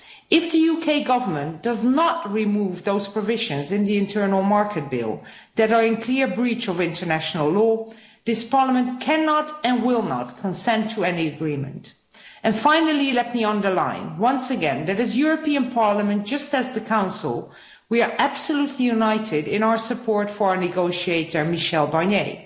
If the UK Government does not remove those provisions in the internal market bill that are in clear breach of international law, this Parliament cannot and will not consent to any agreement. And finally, let me underline once again that we, the European Parliament, just like the Council, are absolutely united in our support for our negotiator, Michel Barnier.